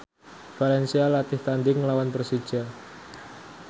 valencia latih tandhing nglawan Persija